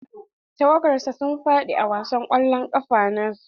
Tawagar sa sun faɗi a wasan kwallon kafa na su.